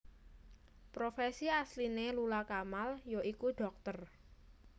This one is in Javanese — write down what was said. Profesi asliné Lula Kamal ya iku dhokter